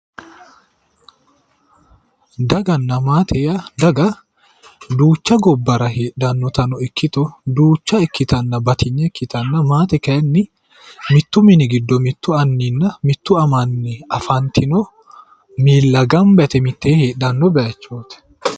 Daganna maate yaa, daga duucha gobbarano heedhannotano ikkito duucha ikkitanna batinye ikkitanna, maate kayiinni mittu mini giddoonni mittu anninna mitte amanni afantino miilla gamba yite mittee hedhanni bayiichooti.